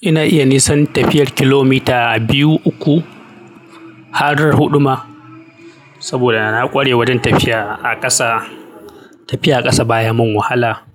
Ina iya nisan tafiyar kilomita biyu, uku, har huduma saboda na kware wajen tafiya a ƙasa. Tafiya a ƙasa baya mun wahala